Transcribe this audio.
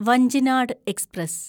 Vanchinad express